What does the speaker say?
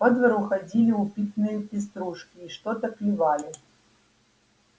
по двору ходили упитанные пеструшки и что-то клевали